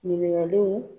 Ɲininkaliw